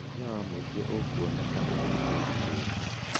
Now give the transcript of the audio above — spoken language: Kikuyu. Hinya wa mũingĩ ũkwonekana thutha-inĩ rĩngĩ.